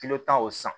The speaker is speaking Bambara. tan o san